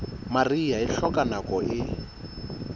mariha e hloka nako e